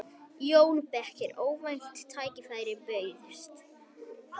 JÓN BEYKIR: Óvænt tækifæri bauðst.